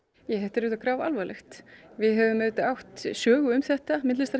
þetta er auðvitað grafalvarlegt við höfum auðvitað átt sögu um þetta